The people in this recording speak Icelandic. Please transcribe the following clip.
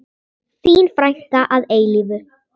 Þín frænka að eilífu.